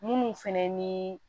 Munnu fɛnɛ ni